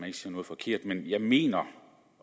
ikke siger noget forkert men jeg mener